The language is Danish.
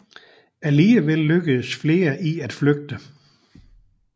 Alligevel lykkedes flere i at flygte